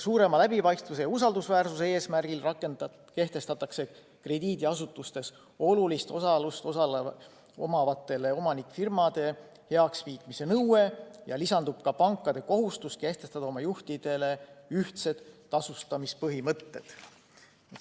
Suurema läbipaistvuse ja usaldusväärsuse eesmärgil kehtestatakse krediidiasutustes olulist osalust omavate omanikfirmade heakskiitmise nõue ja lisandub ka pankade kohustus kehtestada oma juhtidele ühtsed tasustamise põhimõtted.